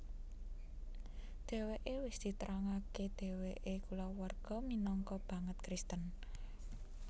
Dheweke wis diterangake dheweke kulawarga minangka banget Kristen